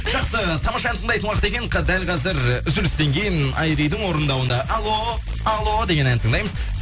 жақсы тамаша ән тыңдайтын уақыт екен дәл қазір і үзілістен кейін айридің орындауында алло алло деген әнді тыңдаймыз